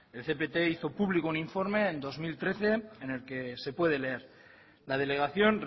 el cept hizo público un informe en dos mil trece en el que se puede leer la delegación